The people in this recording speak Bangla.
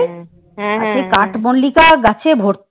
কাঠমল্লিকা গাছে ভর্তি।